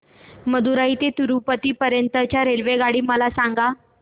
मदुरई ते तिरूपती पर्यंत च्या रेल्वेगाड्या मला सांगा